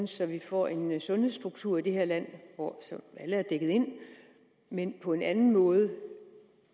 så vi får en sundhedsstruktur i det her land hvor alle er dækket ind men på en anden måde